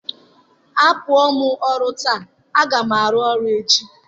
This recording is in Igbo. Apụọ m ọrụ taa, a ga m arụ ọrụ echi.